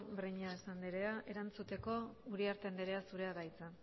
breñas andrea erantzuteko uriarte andrea zurea da hitza